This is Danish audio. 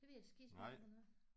Det ved jeg skisme ikke hvornår er